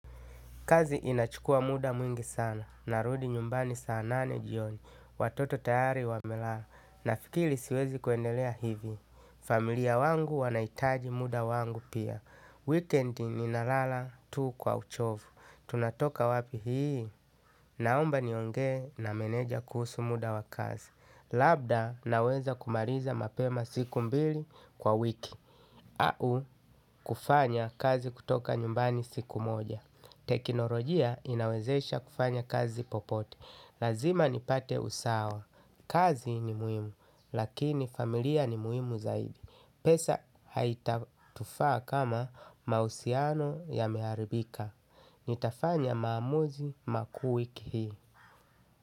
Kazi inachukua muda mwingi sana. Narudi nyumbani saa nane jioni. Watoto tayari wamelala. Nafikiri siwezi kuendelea hivi. Familia wangu wanaitaji muda wangu pia. Wikendi ninalala tu kwa uchovu. Tunatoka wapi hii? Naomba niongee na meneja kuhusu muda wa kazi. Labda naweza kumaliza mapema siku mbili kwa wiki. Au kufanya kazi kutoka nyumbani siku moja. Teknolojia inawezesha kufanya kazi popote lazima nipate usawa, kazi ni muhimu lakini familia ni muhimu zaidi, pesa haitatufaa kama mahusiano yameharibika. Nitafanya maamuzi makuu wiki hii.